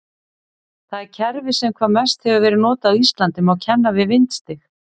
Það kerfi sem hvað mest hefur verið notað á Íslandi má kenna við vindstig.